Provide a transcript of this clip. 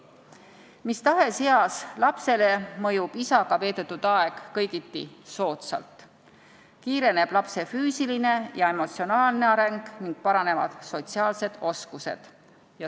Mis tahes eas lapsele mõjub isaga veedetud aeg kõigiti soodsalt, kiireneb lapse füüsiline ja emotsionaalne areng ning paranevad sotsiaalsed oskused.